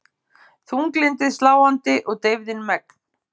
Þunglyndið sláandi og deyfðin megn.